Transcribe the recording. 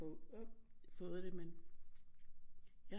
Fået det men jeg